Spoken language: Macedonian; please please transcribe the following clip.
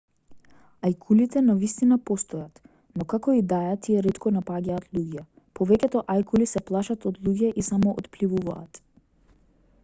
ајкулите навистина постојат но како и да е тие ретко напаѓаат луѓе повеќето ајкули се плашат од луѓе и само отпливуваат